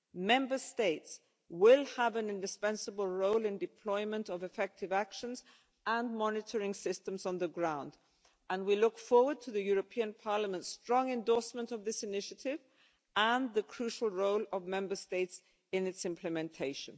Member States will have an indispensable role in the deployment of effective actions and monitoring systems on the ground, and we look forward to the European Parliament's strong endorsement of this initiative and the crucial role of Member States in its implementation.